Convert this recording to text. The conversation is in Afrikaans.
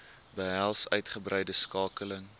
behels uitgebreide skakeling